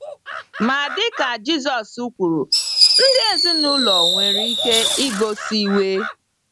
Ma dịka Jisọs kwuru, ndị ezinụlọ nwere ike igosi iwe.